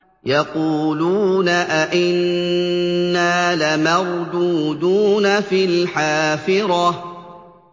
يَقُولُونَ أَإِنَّا لَمَرْدُودُونَ فِي الْحَافِرَةِ